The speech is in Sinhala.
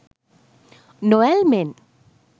නොඇල්මෙන්